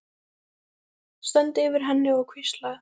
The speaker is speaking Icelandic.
Stend yfir henni og hvísla.